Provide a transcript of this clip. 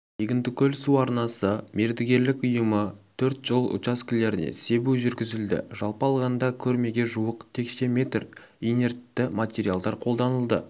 егіндікөл су арнасы мердігерлік ұйымы төрт жол учаскелеріне себу жүргізілді жалпы алғанда көрмеге жуық текше метр инертті материалдар қолданылды